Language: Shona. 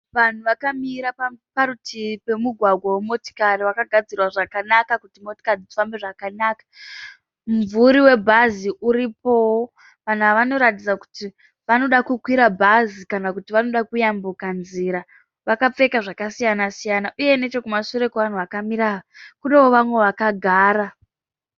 Vanhu vakamira parutivi pemugwagwa we motikari wakagadzirwa zvakanaka kuti motikari dzifambe zvakanaka. Mumvuri webhazi uripowo. Vanhu ava vanoratidza kuti vanoda kukwira bhazi kana kuti vanoda kuyambuka nzira. Vakapfeka zvakasiyana siyana uye nechekumashure kwevanhu vakamira ava kunewo vamwe vakagara